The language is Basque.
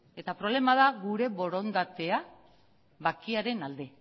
eta problema da gure borondatea bakearen alde